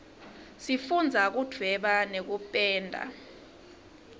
sifundza kudvweba nekupenda